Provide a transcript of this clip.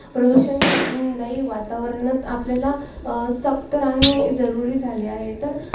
आता एवढेच नसून आपल्या body मध्ये त्रिदोष त्रिगुण व त्रिमल आता त्रिमल कोणते